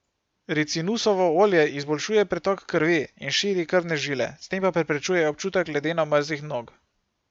Ricinusovo olje izboljšuje pretok krvi in širi krvne žile, s tem pa preprečuje občutek ledeno mrzlih nog.